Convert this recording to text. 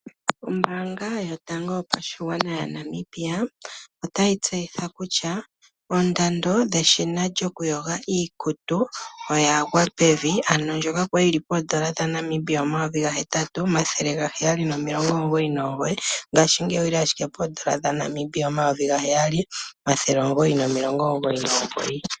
Ombaanga yotango yopashigwana yaNamibia otayi tseyitha kutya oondando dhe eshina lyokuyoga iikutu oyagwa pevi, ndjoka kwali lyi li N$8799 ngashingeyi olyi li ashike N$7999.